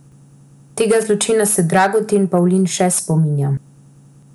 Tega zločina se Dragutin Pavlin še spominja.